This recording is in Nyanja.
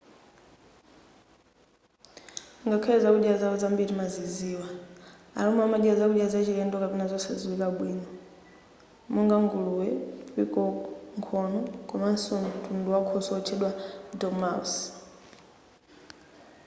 ngakhale zakudya zawo zambiri timaziziwa a roma amadya zakudya zachilendo kapena zosadziwika bwino monga nguluwe pikoko nkhono komanso mtundu wakhoswe otchedwa dormouse